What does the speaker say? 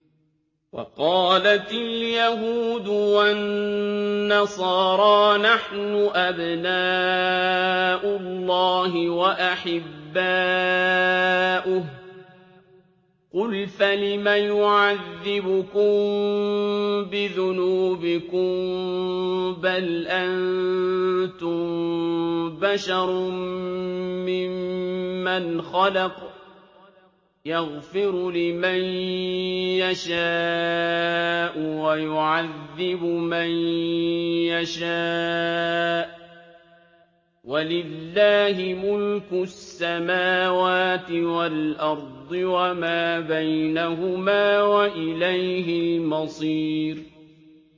وَقَالَتِ الْيَهُودُ وَالنَّصَارَىٰ نَحْنُ أَبْنَاءُ اللَّهِ وَأَحِبَّاؤُهُ ۚ قُلْ فَلِمَ يُعَذِّبُكُم بِذُنُوبِكُم ۖ بَلْ أَنتُم بَشَرٌ مِّمَّنْ خَلَقَ ۚ يَغْفِرُ لِمَن يَشَاءُ وَيُعَذِّبُ مَن يَشَاءُ ۚ وَلِلَّهِ مُلْكُ السَّمَاوَاتِ وَالْأَرْضِ وَمَا بَيْنَهُمَا ۖ وَإِلَيْهِ الْمَصِيرُ